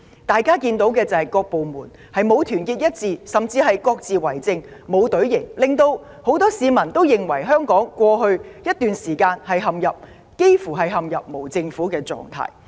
大家看到的是，各部門並不團結一致，甚至各自為政，展現不出隊形，令很多市民認為香港過去這段日子幾乎陷入無政府狀態。